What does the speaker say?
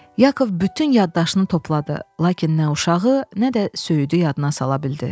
Yakov bütün yaddaşını topladı, lakin nə uşağı, nə də söyüdü yadına sala bildi.